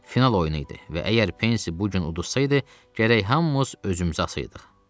Final oyunu idi və əgər Pensi bu gün uduzsaydı, gərək hamımız özümüzü asayıdıq.